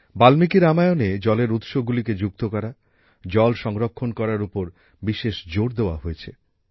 বাল্মীকি রামায়ণে জলের উৎসগুলিকে যুক্ত করা জল সংরক্ষণ করার উপর বিশেষ জোর দেওয়া হয়েছে